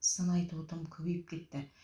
сын айту тым көбейіп кетті